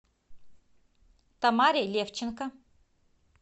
тамаре левченко